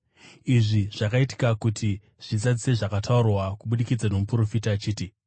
Izvi zvakaitika kuti zvizadzise zvakataurwa kubudikidza nomuprofita achiti: